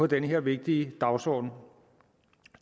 den her vigtige dagsorden